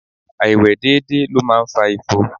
Áìwe dédé ló máa ń fa ifo.